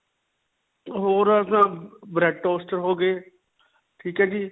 ਹੋਰ ਅਅ ਅਪਣਾ bread toast ਹੋ ਗਏ. ਠੀਕ ਹੈ ਜੀ.